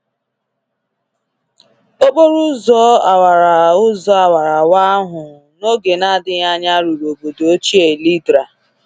Okporo ụzọ awara ụzọ awara awa ahụ, n’oge na-adịghị anya ruru obodo ochie Ledra.